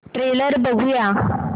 trailer बघूया